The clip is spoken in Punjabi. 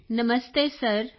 ਕ੍ਰਿਤਿਕਾ ਨਮਸਤੇ ਸਰ